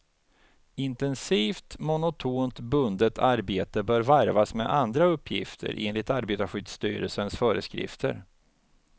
Intensivt, monotont bundet arbete bör varvas med andra uppgifter, enligt arbetarskyddsstyrelsens föreskrifter.